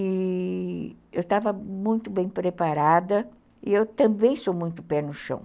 E eu estava muito bem preparada e eu também sou muito pé no chão.